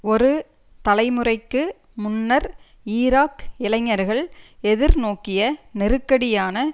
ஒரு தலைமுறைக்கு முன்னர் ஈராக் இளைஞர்கள் எதிர்நோக்கிய நெருக்கடியான